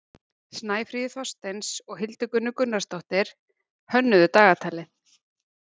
Snæfríður Þorsteins og Hildigunnur Gunnarsdóttir hönnuðu dagatalið.